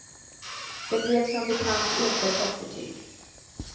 Det blev som bekant inte toppbetyg.